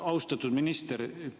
Austatud minister!